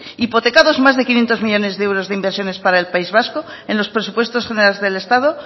hipotecados más de quinientos millónes de euros de inversiones para el país vasco en los presupuestos generales del estado